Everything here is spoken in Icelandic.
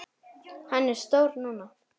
Hann er stór núna.